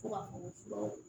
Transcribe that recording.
Fo ka furaw